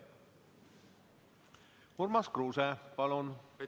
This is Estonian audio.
Urmas Kruuse, palun!